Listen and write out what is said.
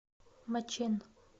мачэн